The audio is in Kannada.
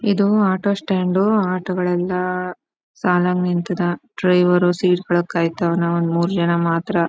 ಇದು ಆಟೋ ಸ್ಟಾಂಡ್ ಆಟೋ ಗಳೆಲ್ಲ ಸಾಲಾಗಿ ನಿಂತಿದೆ ಡ್ರೈವರ್ ಸೀಟ್ ಕೆಳಗ್ ಕಯ್ತವನೇ ಒಂದ್ ಮೂರೂ ಜನ ಮಾತ್ರ--